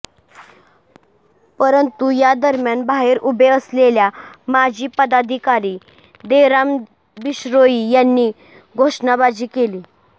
परंतु या दरम्यान बाहेर उभे असलेल्या माजी पदाधिकारी देराम बिश्नोई यांनी घोषणाबाजी केली